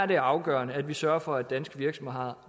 det afgørende at vi sørger for at danske virksomheder